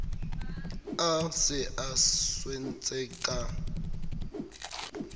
a se a swentse ka